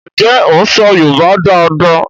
Njé o ń so yorùbá dá dá?